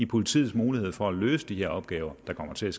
politiets muligheder for at løse de her opgaver der kommer til